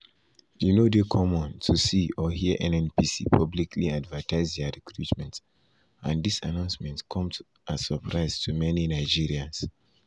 e no dey common to see or hear nnpc publicly advertise dia recruitment and dis announcement come as surprise to many nigerians.